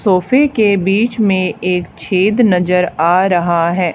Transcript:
सोफे के बीच में एक छेद नजर आ रहा है।